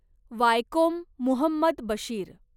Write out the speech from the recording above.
Vaikom Muhammad Bashir